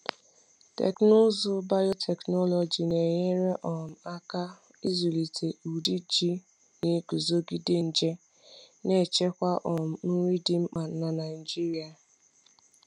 Teknụzụ biotechnology na-enyere um aka ịzụlite ụdị ji na-eguzogide nje, na-echekwa um nri dị mkpa n’Naijiria. um